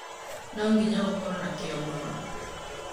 No nginya ũkoro na kĩo mũno.